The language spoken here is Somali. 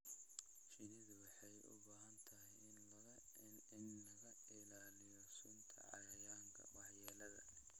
Shinnidu waxay u baahan tahay in laga ilaaliyo sunta cayayaanka waxyeelada leh.